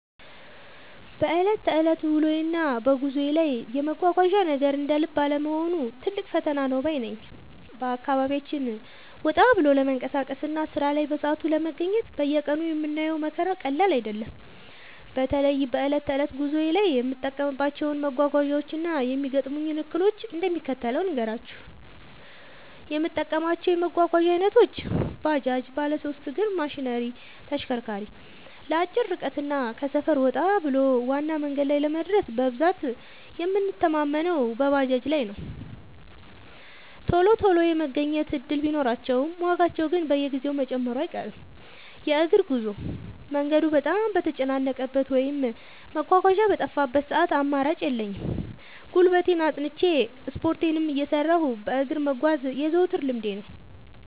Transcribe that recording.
በዕለት ተዕለት ውሎዬና በጉዞዬ ላይ የመጓጓዣ ነገር እንደ ልብ አለመሆኑ ትልቅ ፈተና ነው ባይ ነኝ። በአካባቢያችን ወጣ ብሎ ለመንቀሳቀስና ሥራ ላይ በሰዓቱ ለመገኘት በየቀኑ የምናየው መከራ ቀላል አይደለም። በተለይ በዕለት ተዕለት ጉዞዬ ላይ የምጠቀማቸውን መጓጓዣዎችና የሚገጥሙኝን እክሎች እንደሚከተለው ልንገራችሁ፦ የምጠቀማቸው የመጓጓዣ ዓይነቶች፦ ባጃጅ (ባለሦስት እግር ማሽነሪ/ተሽከርካሪ)፦ ለአጭር ርቀትና ከሰፈር ወጣ ብሎ ዋና መንገድ ላይ ለመድረስ በብዛት የምንተማመነው በባጃጅ ላይ ነው። ቶሎ ቶሎ የመገኘት ዕድል ቢኖራቸውም፣ ዋጋቸው ግን በየጊዜው መጨመሩ አይቀርም። የእግር ጉዞ፦ መንገዱ በጣም በተጨናነቀበት ወይም መጓጓዣ በጠፋበት ሰዓት አማራጭ የለኝም፤ ጉልበቴን አጽንቼ፣ ስፖርቴንም እየሠራሁ በእግር መጓዝ የዘወትር ልምዴ ነው።